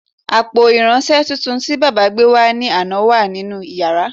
Àpò irinṣẹ́ tuntun tí baba gbé wá ní àná wà nínú yàrá